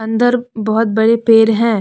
अंदर बहुत बड़े पेड़ हैं।